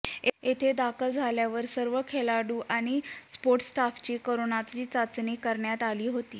येथे दाखल झाल्यावर सर्व खेळाडू आणि सपोर्ट स्टाफची करोचा चाचणी करण्यात आली होती